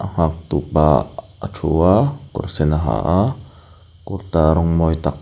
nghak tupa aa a thu a kawr sen a ha a kurta rawng mawi tak --